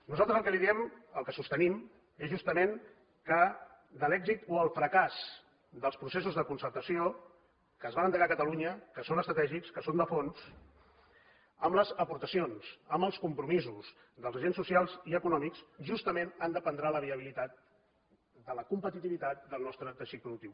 nosaltres el que li diem el que sostenim és justament que de l’èxit o el fracàs dels processos de concertació que es van endegar a catalunya que són estratègics que són de fons amb les aportacions amb els compromisos dels agents socials i econòmics justament en dependrà la viabilitat de la competitivitat del nostre teixit productiu